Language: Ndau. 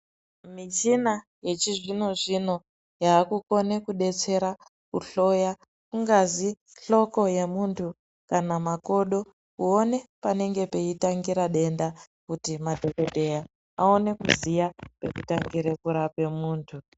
Michina yechizvino zvino yavakukona kudetsera kuhloya kungazi hloko yemuntu kana makodo kuone panenge peitangira denda kuti madhokodheya awane kuziva pekutangire kurape muntu.